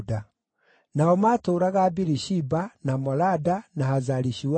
Nao maatũũraga Birishiba, na Molada, na Hazari-Shuali,